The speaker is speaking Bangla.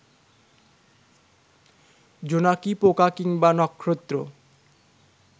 জোনাকি পোকা কিংবা নক্ষত্র